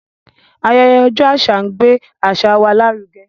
Ayẹyẹ ọjọ́ àṣà ń gbé àṣà wa lárugẹ.